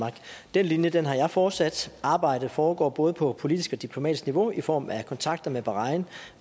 den linje har jeg fortsat arbejdet foregår både på politisk og diplomatisk niveau i form af kontakter med bahrain